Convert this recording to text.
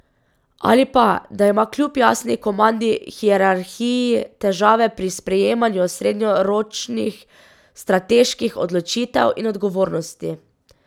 Ali pa, da ima kljub jasni komandni hierarhiji težave pri sprejemanju srednjeročnih strateških odločitev in odgovornosti.